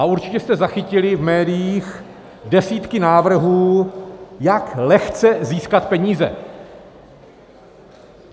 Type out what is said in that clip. A určitě jste zachytili v médiích desítky návrhů, jak lehce získat peníze.